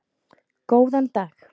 Góðan dag?